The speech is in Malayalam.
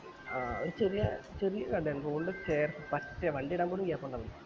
ആഹ് ഒരു ചെറിയ ചെറിയ കടയാണ് road ന് ചേര്ത്ത പറ്റിയ വണ്ടി ഇടാൻ പോലും gap ഇണ്ടാവൂല